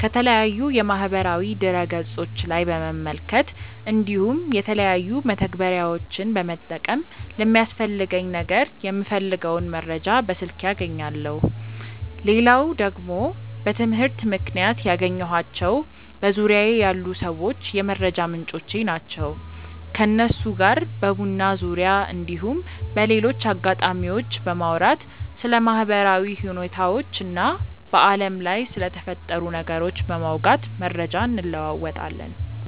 ከተለያዩ የማህበራዊ ድረ ገፆች ላይ በመመልከት እንዲሁም የተለያዩ መተግበሪያዎችን በመጠቀም ለሚያስፈልገኝ ነገር የምፈልገውን መረጃ በስልኬ አገኛለው። ሌላው ደግሞ በትምህርት ምክንያት ያገኘኳቸው በዙርያዬ ያሉ ሰዎች የመረጃ ምንጮቼ ናቸው። ከነሱ ጋር በቡና ዙርያ እንዲሁም በሌሎች አጋጣሚዎች በማውራት ስለ ማህበራዊ ሁኔታዎች እና በአለም ላይ ስለተፈጠሩ ነገሮች በማውጋት መረጃ እንለወጣለን።